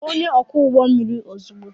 Kpọọ onye ọkwọ ụgbọ mmiri ozugbo!